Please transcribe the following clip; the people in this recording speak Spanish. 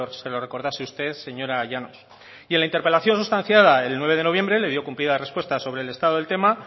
se lo recordase usted señora llanos y en la interpelación sustanciada el nueve de noviembre le dio cumplida respuesta sobre el estado del tema